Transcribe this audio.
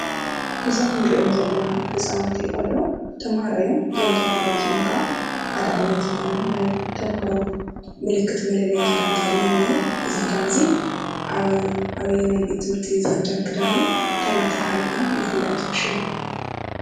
እዞም ንሪኦም ዘለና ህፃውንቲ ቆልዑ ተምሃሮ እዮም። እዞም ተምሃሮ እዚኦም ከዓ ሓደ ዓይነት ዝኾነ ናይ ተምሃሮ ምልክት መለለዪ ክዳን ተከዲኖም እኔዉ:: እዚ ክዳን እዚ ኣበየናይ ቤት ትምርቲ እዩ ዝኽደን ክዳን እዩ? ታይ እንዳተብሃለ ከ ይፍለጥ ?